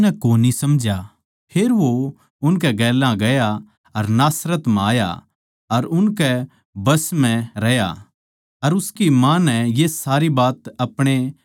फेर वो उनकै गेल्या गया अर नासरत म्ह आया अर उनकै बस म्ह रह्या अर उसकी माँ नै ये सारी बात अपणे मन म्ह राक्खी